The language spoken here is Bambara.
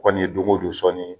Kɔni ye doŋo don sɔnni ye